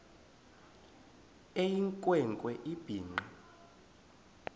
eyinkwe nkwe ebhinqe